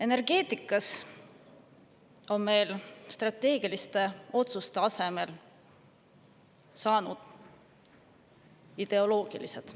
Energeetikas on meil strateegiliste otsuste asemel ideoloogilisi.